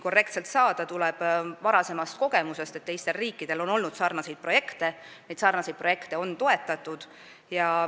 See tuleneb varasematest kogemustest – teiste riikide sarnaseid projekte on toetatud.